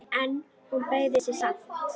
En hún beygði sig samt.